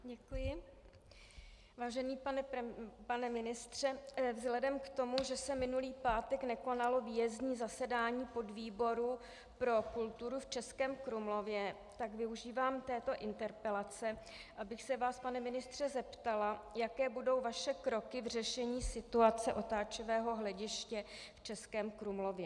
Vážený pane ministře, vzhledem k tomu, že se minulý pátek nekonalo výjezdní zasedání podvýboru pro kulturu v Českém Krumlově, tak využívám této interpelace, abych se vás, pane ministře, zeptala, jaké budou vaše kroky v řešení situace otáčivého hlediště v Českém Krumlově.